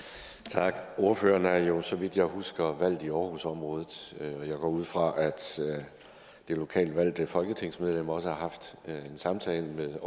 tak ordføreren er jo så vidt jeg husker valgt i aarhusområdet jeg går ud fra at det lokalt valgte folketingsmedlem også har haft en samtale med